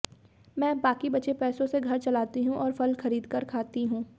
मैं अब बाकी बचे पैसों से घर चलाती हूं और फल खरीदकर खाती हूं